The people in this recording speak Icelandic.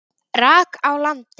rak á land.